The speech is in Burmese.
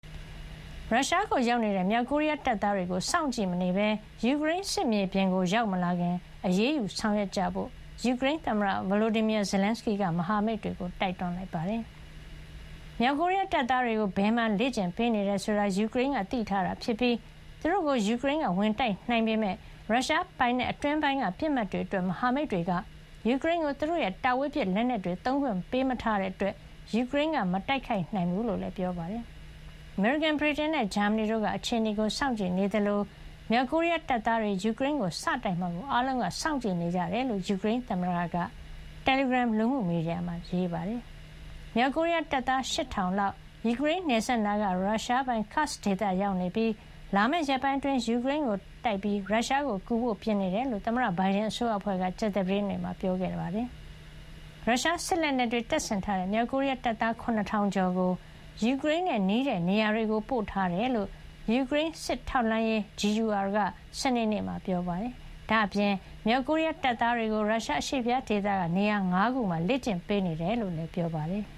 ရုရှားကိုရောက်နေတဲ့ မြောက်ကိုရီးယားတပ်သားတွေကို စောင့်ကြည့်မနေပဲ ယူကရိန်း စစ်မြေပြင်ကို ရောက်မလာခင် အရေးယူဆောင်ရွက်ကြဖို့ ယူကရိန်းသမ္မတ Volodymyr Zelenskyy က မဟာမိတ်တွေကို တိုက်တွန်းလိုက်ပါတယ်။ မြောက်ကိုရီးယား တပ်သားတွေကို ဘယ်မှာ လေ့ကျင့်ပေးနေတယ်ဆိုတာကို ယူကရိန်းက သိထားတာဖြစ်ပြီး သူတို့ကို ယူကရိန်းက ဝင်တိုက်နိုင်ပေမယ့် ရုရှားပိုင်နက်အတွင်းပိုင်းက ပစ်မှတ်တွေအတွက် မဟာမိတ်တွေက ယူကရိန်းကို သူတို့ရဲ့ တာဝေးပစ် လက်နက်တွေ သုံးခွင့် ပေးမထားတာကြောင့် ယူကရိန်းက မတိုက်ခိုက်နိုင်ကြောင်းလည်း ပြောပါတယ်။ အမေရိကန်၊ ဗြိတိန်နဲ့ ဂျာမနီတို့က အခြေအနေကို စောင့်ကြည့်နေကြသလို၊ မြောက်ကိုရီးယားတပ်သားတွေ ယူကရိန်းကို စတိုက်မှာကို အားလုံးက စောင့်ကြည့်နေကြတယ်လို့ ယူကရိန်းသမ္မတက သောကြာနေ့ညပိုင်း တယ်လီဂရမ် လူမှုမီဒီယာမှာ ရေးပါတယ်။ မြောက်ကိုရီးယား တပ်သား ၈,၀၀၀ လောက်ဟာ ယူကရိန်းနယ်စပ်နားက ရုရှားပိုင် Kursk ဒေသမှာ ရောက်နေသလို၊ လာမယ့် ရက်ပိုင်းအတွင်း ယူကရိန်းကိုတိုက်ပြီး ရုရှားကိုကူဖို့ ပြင်ဆင်နေတယ်လို့ သမ္မတဘိုင်ဒန် အစိုးရအဖွဲ့က ကြာသပတေးနေ့က ပြောကြားခဲ့တာပါ။ ရုရှားစစ်လက်နက်တွေ တပ်ဆင်ထားတဲ့ မြောက်ကိုရီးယား တပ်သား ၇,၀၀၀ ကျော်ကို ယူကရိန်းနဲ့ နီးတဲ့နေရာတွေကို ပို့ထားတယ်လို့ ယူကရိန်း စစ်ထောက်လှမ်းရေး GUR က စနေနေ့မှာ ပြောပါတယ်။ ဒါ့အပြင် မြောက်ကိုရီးယား တပ်သားတွေကို ရုရှား အရှေ့ဖျားဒေသက နေရာ ၅ နေရာမှာ လေ့ကျင့်ပေးနေတယ်လို့လည်း ပြောပါတယ်။